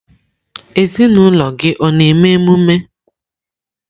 Ezinụlọ gị ọ na-eme emume?